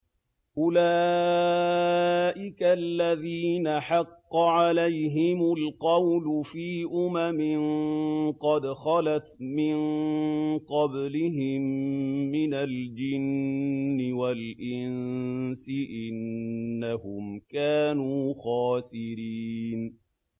أُولَٰئِكَ الَّذِينَ حَقَّ عَلَيْهِمُ الْقَوْلُ فِي أُمَمٍ قَدْ خَلَتْ مِن قَبْلِهِم مِّنَ الْجِنِّ وَالْإِنسِ ۖ إِنَّهُمْ كَانُوا خَاسِرِينَ